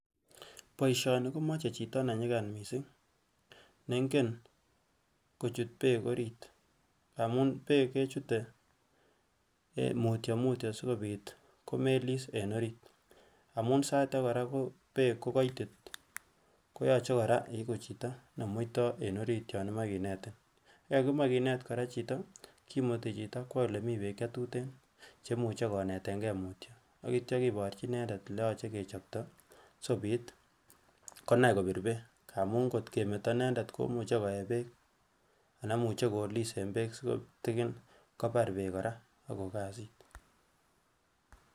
Boishoni komoi chi ne nyigan missing nengen kochut beek orit amun beek kechute mutyo mutyo asikopit komelis en orit amun sai agee koraa beek ko koitit koyoche koraa iguu chito ne muitoo en orit yon imoi kinetin. Yon kimoi kinet koraa chito kimutii chitoo kwo elemii beek che tuten che imuche konetengee mutyo akityo kiborchi inendet eleyoche kechobto asikopit konae kobir beek amun kot kemeto inenendet komuche koyee beek anan imuche kolis en beek si kitigin kobar beek koraa ak koik kazit